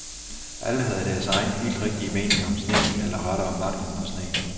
Alle havde deres egen helt rigtige mening om sneen eller rettere manglen på sne.